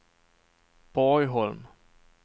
Borgholm